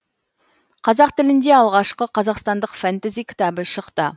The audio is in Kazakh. қазақ тілінде алғашқы қазақстандық фэнтези кітабы шықты